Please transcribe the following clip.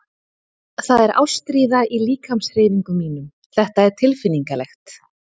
Það er ástríða í líkamshreyfingum mínum- þetta er tilfinningalegt.